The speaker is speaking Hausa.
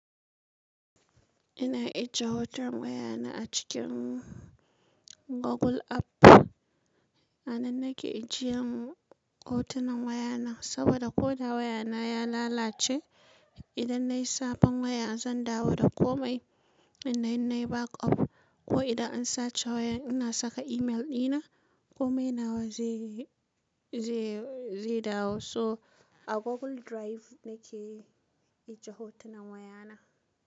Ina ajiye hoton wayana a cikin Google App. A nan nake ajiyan hotunan wayana, saboda ko da wayana ya lalace, idan na yi sabon waya zan dawo da komai. Idan nayi backup ko idan an sace wayan ina saka email dina, kome nawa zai, zai, zai dawo. So a Google Drive nake ajiye hotunan wayana.